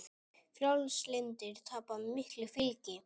Frjálslyndir tapa miklu fylgi